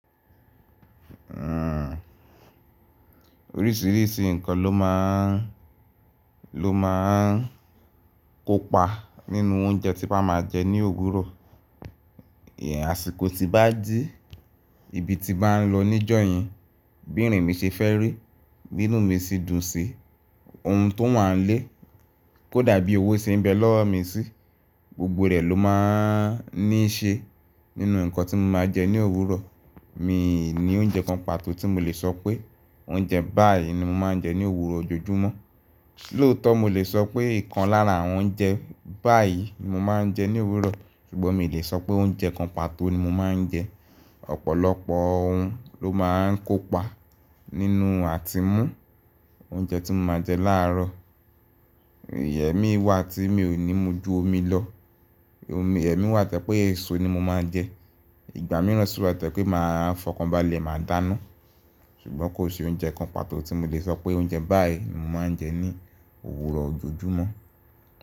Orísìírísìí nǹkan ló máa ń, ló máa ń kópa nínú oúnjẹ tí a máa ń jẹ ní òwúrọ̀. Àsìkò tí bá jí, ibi tí bá ń lọ níjọ̀yìn, bí ìrìn mi ṣe fẹ́ rí, B'inú mi sì dùn sí ohun tó wà nílé, kó dàbí owó ṣe ń bẹ lọ́wọ́ mi sí, gbogbo rẹ̀ ló máa ń ní ṣe nínú nǹkan tí mo máa jẹ ní òwúrọ̀. Mi ò ní oúnjẹ kan pàtó tí mo lè sọ pé oúnjẹ báyìí ni mo máa ń jẹ ní òwúrọ̀ ojoojúmọ́. Lóòótọ́ mo lè sọ pé ìkan lára àwọn oúnjẹ báyìí ni mo máa ń jẹ ní òwúrọ̀, ṣùgbọ́n mi ò lè sọ pé oúnjẹ kan pàtó ni mo máa ń jẹ. Ọ̀pọ̀lọpọ̀ ohun ló máa ń kópa nínú àtimú oúnjẹ tí mo máa jẹ láàárọ̀. Ẹ̀mí wà tí mi ò ní mú ju omi lọ. Ẹ̀mí wà tẹ́ pé èso ni mo máa ń jẹ. Ìgbà mìíràn sì wà tẹ́ pé màá fọkànbalẹ̀, màá dáná. Ṣùgbọ́n kò sí oúnjẹ kan pàtó tí mo lè sọ pé oúnjẹ báyìí ni mo máa ń jẹ ní òwúrọ̀ ojoojúmọ́.